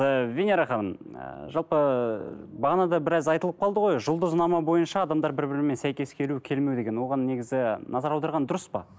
ы венера ханым ы жалпы бағана да біраз айтылып қалды ғой жұлдызнама бойынша адамдар бір бірімен сәйкес келу келмеу деген оған негізі назар аударған дұрыс па